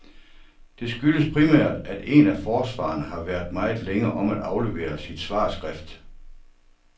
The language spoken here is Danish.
Det skyldes primært, at en af forsvarerne har været meget længe om at aflevere sit svarskrift.